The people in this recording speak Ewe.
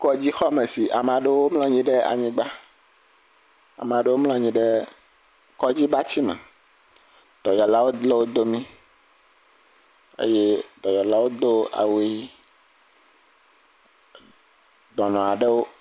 Kɔdzixɔme si ame aɖewo mlɔ anyi ɖe anyigba. Ame aɖewo mlɔ anyi ɖe kɔdzibatsi me. Dɔyɔlawo le wo domi eye dɔyɔlawo do awu ʋi e dɔnɔ aɖewo.